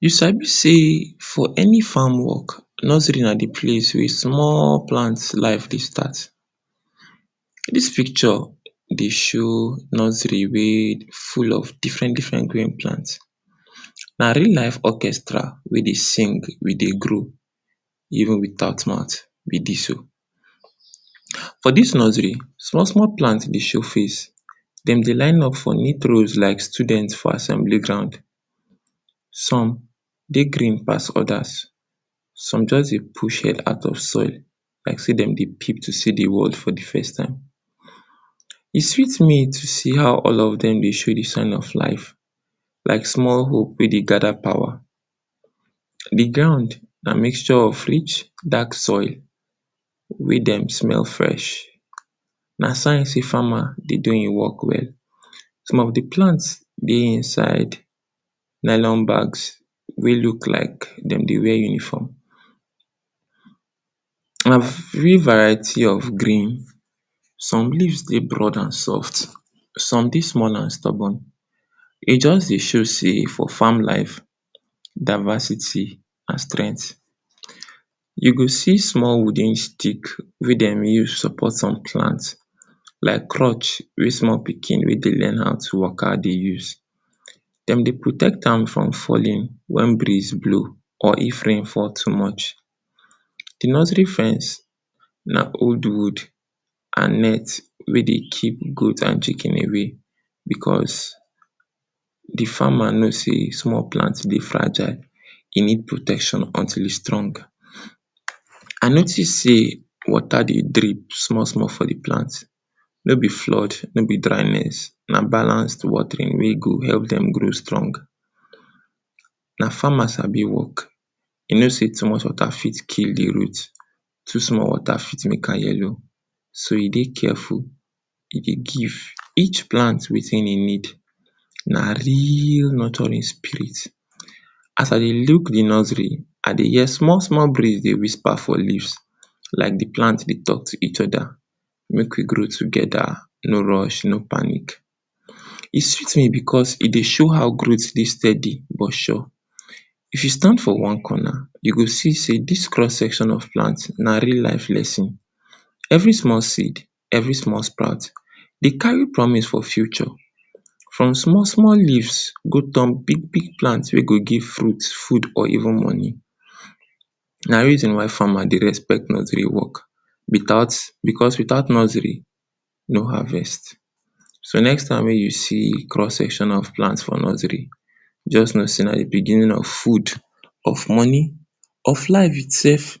You sabi sey for any farm work, nursery na di place wey small plant life dey start. Dis picture dey show nursery wey full of differen differen green plant. Na real life orchestra wey dey sing we dey grow, even without mout be dis o. For dis nursery, small small plant dey show face, den dey line up for neat rolls like student for assembly ground. Some dey green pass odas, some just dey push head out of soil, like sey dem dey peep to see di world for di first time. E sweet me to see how all of dem dey show di sign of life, like small hope wey dey gada power. Di ground na mixture of rich dark soil wey dem smell fresh, na sign sey farmer dey do im work well. Some of di plants dey inside nylon bags wey look like dem dey wear uniform. And few variety of green, some leaves dey broad and soft, some dey small and stubborn, e just dey show sey for farm life, diversity and strengt. You go see small wooden stick wey dem support some plant like crush wey small pikin wey dey learn how to waka dey use. Dem dey protect am from falling wen breeze blow or if rain fall too much. Di nursery fence na old wood and net wey dey keep goat and chicken away, because di farmer know sey small plant dey fragile, e need protection until e strong. I notice sey water dey drip small small for di plant, no be flood, no be dryness, na balance watering wey go help dem grow strong. Na farmer sabi work, e know sey too much water fit kill di root, too small water fit make am yellow, so e dey careful, e dey give each plan wetin e need, na real nurturing spirit. As I dey look di nursery, I dey hear small small breeze dey whisper for leaves, like di plant dey talk to each oda, mek we grow togeda, no rush, no panic. E sweet me because e dey show how growt dey steady but sure. If you stand for one corner, you go see sey dis cross section of plant na real life lesson. Every small seed, every small sprout, de carry promise for future. From small small leaves go turn big big plant wey go give fruit, food, or even money. Na reason why farmer dey respect nursery work, without, because without nursery, no harvest. So, next time wey you see cross section of plant for nursery, just know sey na di beginning of food, of money, of life itself,